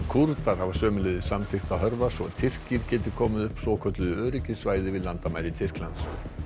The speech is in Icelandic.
Kúrdar hafa sömuleiðis samþykkt að hörfa svo Tyrkir geti komið upp svokölluðu öryggissvæði við landamæri Tyrklands